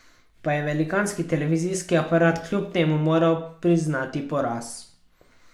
Pa je velikanski televizijski aparat kljub temu moral priznati poraz.